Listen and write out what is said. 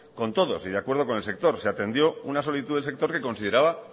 con todos y de acuerdo con el sector se atendió una solicitud del sector que consideraba